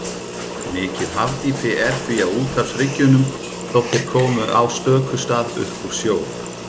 Mikið hafdýpi er því á úthafshryggjunum, þótt þeir komi á stöku stað upp úr sjó.